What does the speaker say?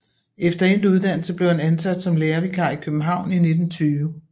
Efter endt uddannelse blev han ansat som lærervikar i København i 1920